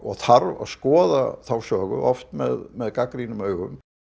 þarf að skoða söguna oft með með gagnrýnum augum